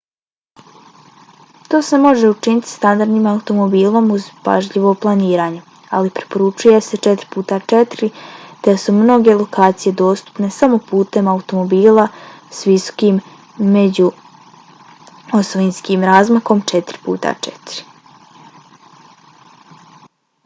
to se može učiniti standardnim automobilom uz pažljivo planiranje ali preporučuje se 4x4 te su mnoge lokacije dostupne samo putem automobila s visokim međuosovinskim razmakom 4x4